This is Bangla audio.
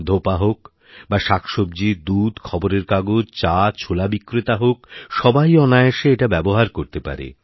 ধোপা হোক বা শাকসব্জী দুধ খবরের কাগজ চা ছোলা বিক্রেতা হোক সবাই অনায়াসে এটা ব্যবহার করতে পারে